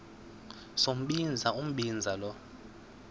sombinza umbinza lo